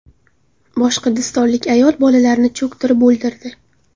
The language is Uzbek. Boshqirdistonlik ayol bolalarini cho‘ktirib o‘ldirdi.